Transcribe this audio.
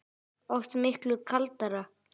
Oft miklu kaldara